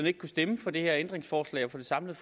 ikke kunne stemme for det her ændringsforslag og for det samlede